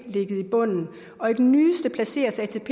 bunden og i den nyeste placeres atp